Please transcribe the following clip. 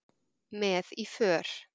Með í för